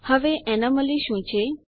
હવે એનોમલી શું છે